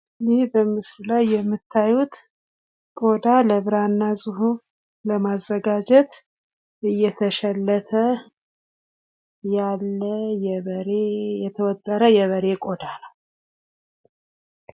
ይህ በምስሉ ላይ የምታዩት ቆዳ ለብራና ጽሑፍ ለማዘጋጀት እየተሸለተ ያለ የተወጠረ የበሬ ቆዳ ነው።